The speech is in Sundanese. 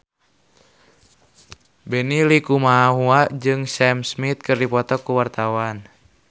Benny Likumahua jeung Sam Smith keur dipoto ku wartawan